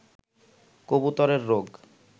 কবুতরের রোগ